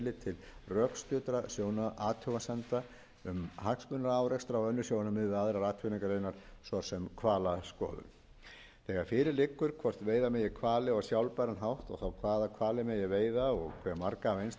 tillit til rökstuddra athugasemda um hagsmunaárekstra og önnur sjónarmið við aðrar atvinnugreinar svo sem hvalaskoðun þegar fyrir liggur hvort veiða megi hvali á sjálfbæran hátt og þá hvaða hvali megi veiða og hve marga af einstökum tegundum tekur ráðherra ákvörðun